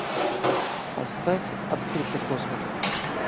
поставь открытый космос